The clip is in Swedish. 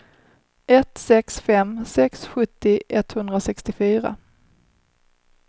ett sex fem sex sjuttio etthundrasextiofyra